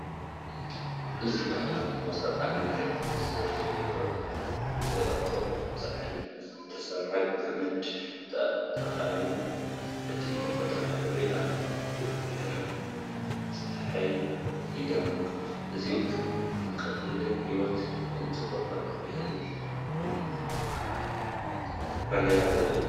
እዚ ባህላዊ መኮስተራት ኣብ መሬት ተዘርጊሑ ይረአኣሎ። ብደረቕ ሳዕሪ ብዝተሰርሐ ገመድ ተኣሲሩ። እቲ ተፈጥሮኣዊ ሕብሪ ኣብ ብርሃን ጸሓይ ይደምቕ፤ እዚ ንቐሊልነት ህይወትን ንጽባቐ ባህልን ብንጹር ዘርኢ እዩ።